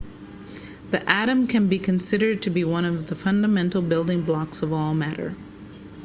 the atom can be considered to be one of the fundamental building blocks of all matter